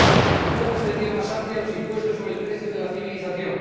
Desde una perspectiva más amplia, los impuestos son el precio de la civilización.